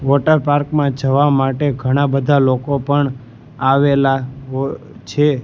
Water park માં જવા માટે ઘણા બધા લોકો પણ આવેલા હો છે.